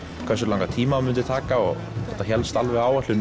hversu langan tíma myndi taka og þetta hélst alveg á áætlun